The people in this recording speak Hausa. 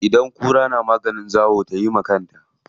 Idan kura na maganin zawo tayi wa kanta.